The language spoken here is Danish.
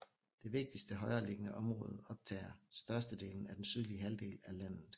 Det vigtigste højereliggende område optager størstedelen af den sydlige halvdel af landet